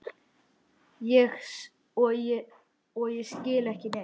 Og ég skil ekki neitt.